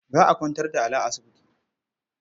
Za a kwantar da Ali a asibiti.